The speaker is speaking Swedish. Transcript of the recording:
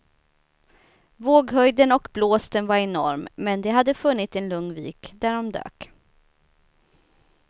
Våghöjden och blåsten var enorm, men de hade funnit en lugn vik där de dök.